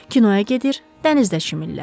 Kinoya gedir, dənizdə çimirlər.